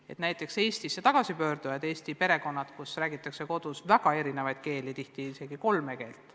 Seal on tegu Eestisse tagasipöördunutega ja perekondaga, kus räägitakse kodus väga erinevaid keeli, tihti isegi kolme keelt.